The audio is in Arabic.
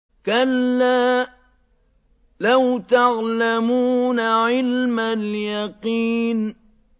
كَلَّا لَوْ تَعْلَمُونَ عِلْمَ الْيَقِينِ